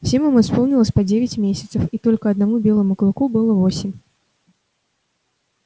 всем им исполнилось по девять десять месяцев и только одному белому клыку было восемь